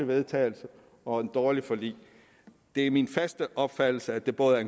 vedtagelse og et dårligt forlig det er min klare opfattelse at det både er